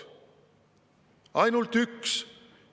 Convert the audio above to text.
Ainult üks!